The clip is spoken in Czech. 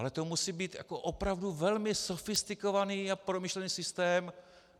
Ale to musí být opravdu velmi sofistikovaný a promyšlený systém."